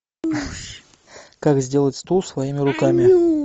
как сделать стул своими руками